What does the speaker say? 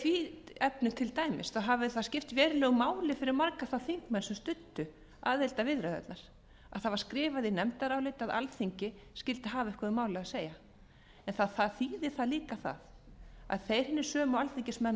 í því efni til dæmis hafi það skipt verulegu máli fyrir marga þá þingmenn sem studdu aðildarviðræðurnar að það var skrifað í nefndarálitið að alþingi skyldi hafa eitthvað um málið að segja en það þýðir líka að þeir hinir sömu alþingismenn og